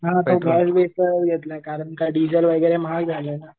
हां आता गॅस कारण डिझेल आता महाग झालंय ना.